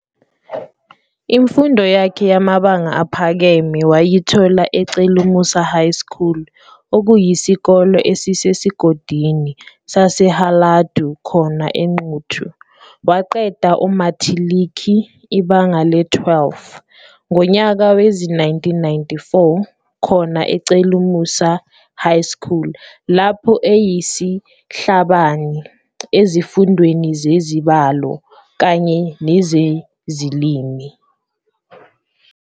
Imfundo yakhe yamabanga aphakeme wayithola eCelumusa High School okuyisikole esisesigodini saseHaladu khona eNquthu. Waqeda umathiliki, ibanga le-12, ngonyaka wezi-1994 khona eCelumusa High School lapho ayeyisihlabani ezifundweni zeZibalo kanye nezeziLimi.